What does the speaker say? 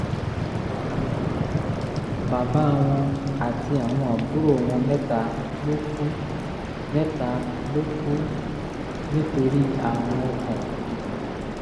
bàbá wọn àti àwọn àbúrò wọn mẹ́ta ló kú mẹ́ta ló kú nítorí àrùn ọkàn